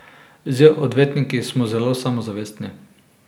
Z odvetniki smo zelo samozavestni.